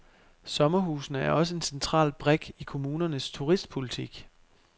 Sommerhusene er også en central brik i kommunernes turistpolitik.